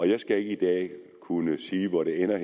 jeg skal ikke i dag kunne sige hvor det ender og